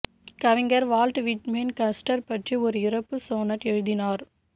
கவிஞர் Walt Whitman Custer பற்றி ஒரு இறப்பு சோனட் எழுதினார்